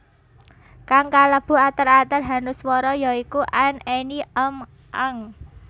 Kang kalebu ater ater hanuswara ya iku an any am ang